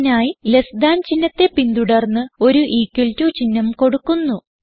ഇതിനായി less than ചിഹ്നത്തെ പിന്തുടർന്ന് ഒരു ഇക്വൽ ടോ ചിഹ്നം കൊടുക്കുന്നു